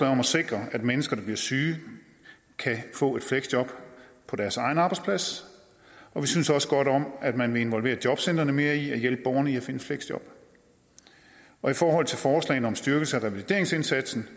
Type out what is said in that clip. at sikre at mennesker der bliver syge kan få et fleksjob på deres egen arbejdsplads og vi synes også godt om at man vil involvere jobcentrene mere i at hjælpe borgerne med at finde fleksjob og i forhold til forslaget om en styrkelse af revalideringsindsatsen